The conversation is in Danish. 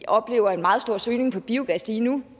oplever en meget stor søgning på biogas lige nu